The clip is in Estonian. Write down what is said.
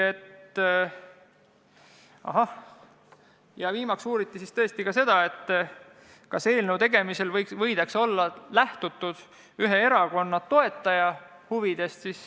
Viimaks uuriti tõesti ka seda, kas eelnõu tegemisel võidakse olla lähtutud ühe erakonna toetaja huvidest.